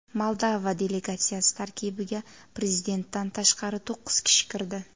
Moldova delegatsiyasi tarkibiga prezidentdan tashqari to‘qqiz kishi kirdi.